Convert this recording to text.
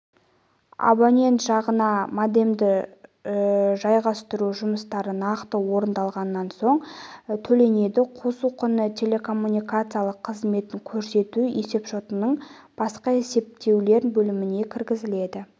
абонент жағына модемді жайғастыру жұмыстары нақты орындалғаннан соң төленеді қосу құны телекоммуникациялар қызметін көрсету есепшотының басқа есептеулер бөліміне кіргізіледі